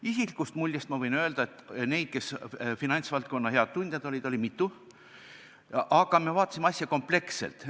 Isikliku mulje põhjal võin ma öelda, et finantsvaldkonna häid tundjaid oli mitu, aga me vaatasime asja kompleksselt.